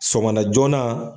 Sɔgɔmada joona.